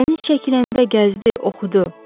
Dəniz çəkiləndə gəzdi, oxudu.